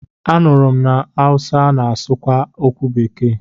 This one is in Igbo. M nụrụ na ndị Awụsa na-asụ kwa okwu bekee.